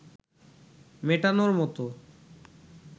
মেটানোর মতো